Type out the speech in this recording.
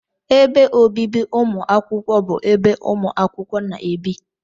Ébé obibi umuakwukwo bụ ebe umuakwukwo na-ebi